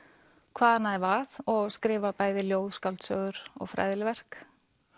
hvaðanæva og skrifa bæði ljóð skáldsögur og fræðileg verk